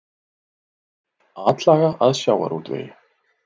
Atlaga að sjávarútvegi